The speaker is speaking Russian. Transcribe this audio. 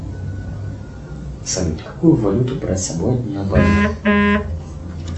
салют какую валюту брать с собой на бали